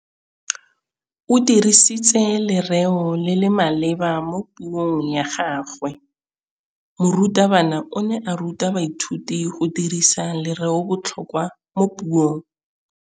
O dirisitse lerêo le le maleba mo puông ya gagwe. Morutabana o ne a ruta baithuti go dirisa lêrêôbotlhôkwa mo puong.